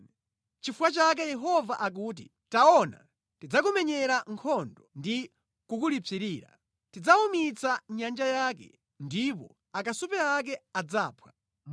Nʼchifukwa chake Yehova akuti, “Taona, ndidzakumenyera nkhondo ndi kukulipsirira; ndidzawumitsa nyanja yake ndipo akasupe ake adzaphwa.